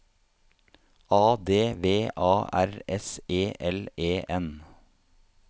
A D V A R S E L E N